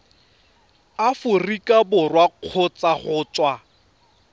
aforika borwa kgotsa go tswa